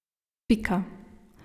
Pika.